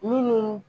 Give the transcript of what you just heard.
Minnu